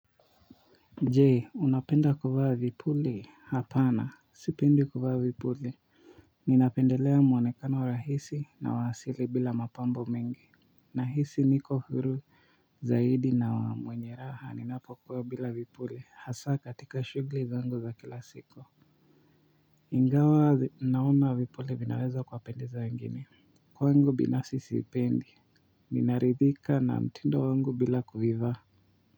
Jee unapenda kuvaa vipuli hapana sipendi kuvaa vipuli ninapendelea mwonekano rahisi na wa asili bila mapambo mengi nahisi niko huru zaidi na wa mwenye raha ninapokuwa bila vipuli hasa katika shughli zangu za kila siku. Ingawa naona vipuli vinaweza kuwapendeza wengine kwangu binafsi sipendi. Ninaridhika na mtindo wangu bila kuivaa.